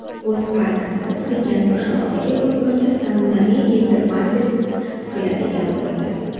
O‘zA tanqid qilgan Toshloqdagi bozorda zamonaviy gipermarket quriladigan bo‘ldi.